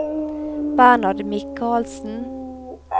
Bernhard Mikalsen